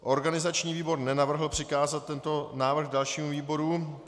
Organizační výbor nenavrhl přikázat tento návrh dalšímu výboru.